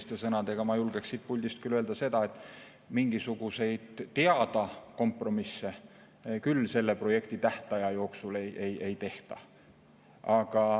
Teiste sõnadega: ma julgeksin siit puldist küll öelda, et mingisuguseid teada kompromisse küll selle projekti tähtaja jooksul ei tehta.